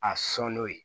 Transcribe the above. A sɔn n'o ye